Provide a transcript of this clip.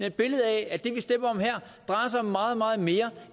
et billede af at det vi stemmer om her drejer sig om meget meget mere